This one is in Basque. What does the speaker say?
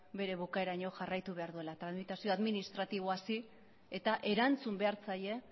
bere bukaeraraino jarraitu behar duela tramitazio administratiboa hasi eta erantzun behar zaie